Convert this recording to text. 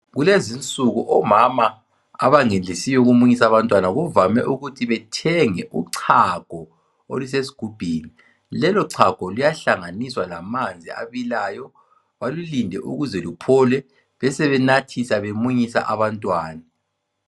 Kulezinsuku omama abangenelisiyo ukumunyisa abantwana kuvame ukuthi bethenge uchago olusesigubhini. Lelo chago luyahlanganiswa ngamanzi abilayo, balulinde ukuze kuphole bebesenathisa bemunyisa abantwana.